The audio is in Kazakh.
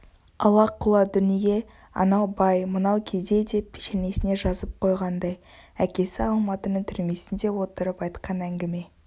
ала-құла дүние анау бай мынау кедей деп пешенесіне жазып қойғандай әкесі алматының түрмесінде отырып айтқан әңгіме